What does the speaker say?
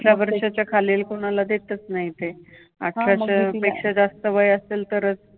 अठरा वर्षाच्या खालील कुणाला देतच नाहीत ते. अठराच्यापेक्षा जास्त वय असेल तरच